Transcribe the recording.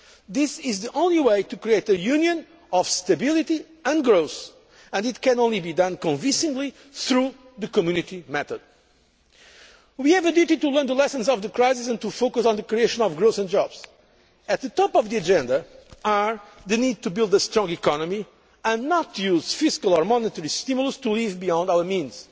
way. This is the only way to create a Union of stability and growth and it can only be done convincingly through the Community method. We have a duty to learn the lessons of the crisis and to focus on the creation of growth and jobs. At the top of the agenda is the need to build a strong economy and not to use fiscal or monetary stimulus to live beyond our